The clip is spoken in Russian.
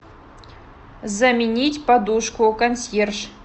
заменить подушку консьерж